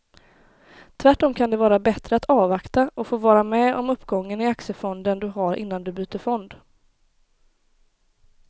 Tvärtom kan det vara bättre att avvakta och få vara med om uppgången i aktiefonden du har innan du byter fond.